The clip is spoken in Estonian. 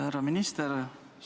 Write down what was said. Härra minister!